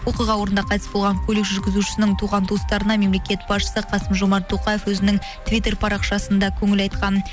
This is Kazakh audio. оқиға орнында қайтыс болған көлік жүргізушісінің туған туыстарына мемлекет басшысы қасым жомарт тоқаев өзінің твиттер парақшасында көңіл айтқан